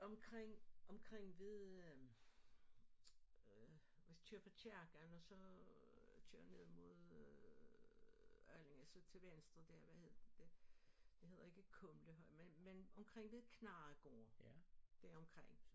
Omkring omkring ved øh hvis du kører fra kirken og så kører ned mod øh Allinge så til venstre hvad hed det det hedder ikke Kumlehøje men men omkring ved Knarregård deromkring